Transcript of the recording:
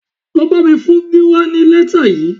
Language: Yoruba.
Lọ bá mi fún Gíwá ní lẹ́tà yìí